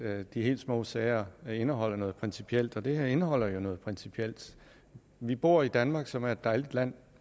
at de helt små sager indeholder noget principielt og det her indeholder noget principielt vi bor i danmark som er et dejligt land